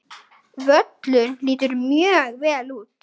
Völlur lítur mjög vel út.